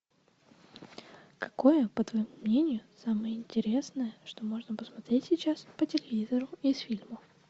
какое по твоему мнению самое интересное что можно посмотреть сейчас по телевизору из фильмов